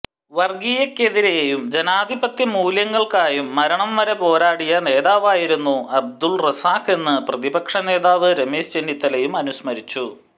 വര്ഗീയതക്കെതിരേയും ജനാധിപത്യ മൂല്യങ്ങള്ക്കായും മരണം വരെ പോരാടിയ നേതാവായിരുന്നു അബ്ദുല് റസാഖെന്ന് പ്രതിപക്ഷ നേതാവ് രമേശ് ചെന്നിത്തലയും അനുസ്മരിച്ചു